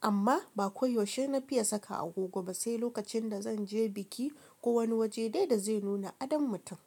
Amma ba koyaushe na fiye saka agogo ba sai lokacin da zan je biki ko wani waje dai da zai nuna adon mutum.